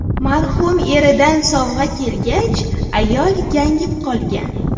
Marhum eridan sovg‘a kelgach, ayol gangib qolgan.